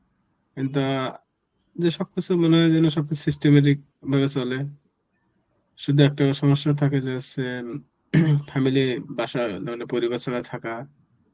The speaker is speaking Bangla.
কিন্তু অ্যাঁ যে সব কিছু মনে হয় যেন সব কিছু systematic ভাবে চলে. শুধু একটা সমস্যা থাকে যে হচ্ছে family বাসা মানে পরিবার ছাড়া থাকা